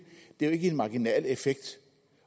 det er jo ikke en marginal effekt